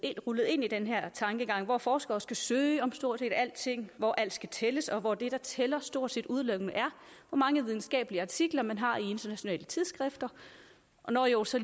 rullet ind i den her tankegang hvor forskere skal søge om stort set alting hvor alt skal tælles og hvor det der tæller stort set udelukkende er hvor mange videnskabelige artikler man har i internationale tidsskrifter og nå jo også